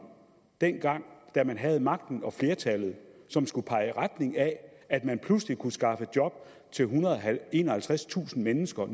dengang da man havde magten og flertallet som skulle pege i retning af at man pludselig kunne skaffe job til ethundrede og enoghalvtredstusind mennesker